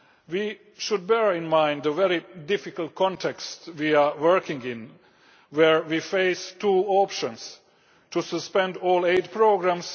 We should bear in mind the very difficult context we are working in where we face two options either we suspend all aid programmes